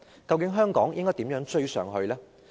究竟香港應如何迎頭趕上？